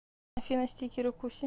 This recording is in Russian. афина стикеры куси